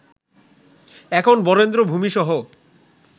এখন বরেন্দ্র ভূমিসহ